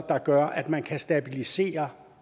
der gør at man kan stabilisere